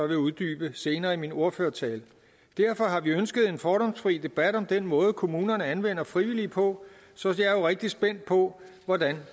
vil uddybe senere i min ordførertale derfor har vi ønsket en fordomsfri debat om den måde kommunerne anvender frivillige på så jeg er jo rigtig spændt på hvordan